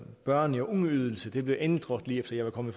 børne og ungeydelse blev ændret lige efter jeg var kommet